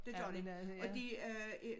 Det gør de og de øh er